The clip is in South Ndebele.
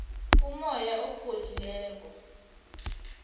umoya opholileko